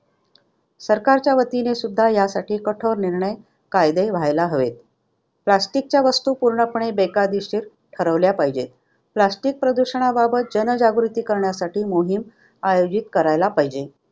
सरकारच्या वतीने सुद्धा यासाठी कठोर निर्णय कायदे व्हायला हवेत. Plastic च्या वस्तू पूर्णपणे बेकायदेशीर ठरवल्या पाहिजेत. Plastic प्रदूषणाबाबत जनजागृती करण्यासाठी मोहीम आयोजित करायला पाहिजे.